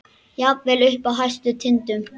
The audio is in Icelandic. Jafnvel uppi á hæstu tindum.